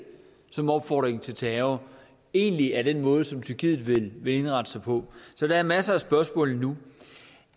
som en opfordring til terror egentlig er den måde som tyrkiet vil indrette sig på så der er masser af spørgsmål endnu